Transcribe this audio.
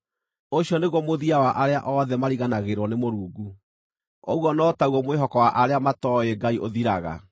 Ũcio nĩguo mũthia wa arĩa othe mariganagĩrwo nĩ Mũrungu; ũguo no ta guo mwĩhoko wa arĩa matooĩ Ngai ũthiraga.